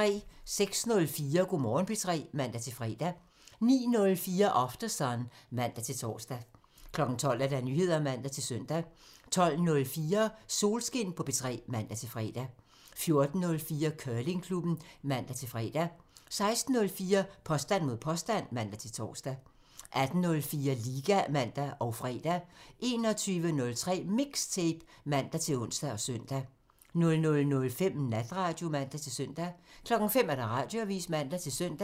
06:04: Go' Morgen P3 (man-fre) 09:04: Aftersun (man-tor) 12:00: Nyheder (man-søn) 12:04: Solskin på P3 (man-fre) 14:04: Curlingklubben (man-fre) 16:04: Påstand mod påstand (man-tor) 18:04: Liga (man og fre) 21:03: MIXTAPE (man-ons og søn) 00:05: Natradio (man-søn) 05:00: Radioavisen (man-søn)